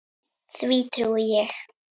Því trúi ég.